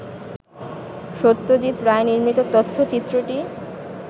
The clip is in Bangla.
সত্যজিৎ রায় নির্মিত তথ্যচিত্রটি